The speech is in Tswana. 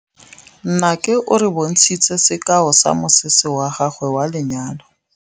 Nnake o re bontshitse sekaô sa mosese wa gagwe wa lenyalo.